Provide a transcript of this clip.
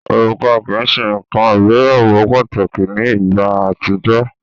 Òrùka kii ṣe nkan ìgbéyàwó pataki ni igba atijọ.